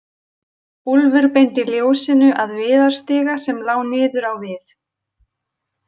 Úlfur beindi ljósinu að viðarstiga sem lá niður á við.